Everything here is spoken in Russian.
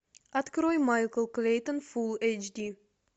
открой майкл клейтон фул эйч ди